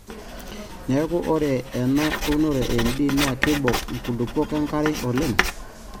Neeku ore ena unore e MD naa keibok nkulupuok enkare oleng alang M eshula o MS.